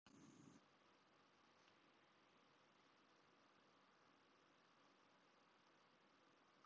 Er enn í Lagernum frá áramótunum?